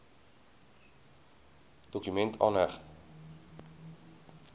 dokument aangeheg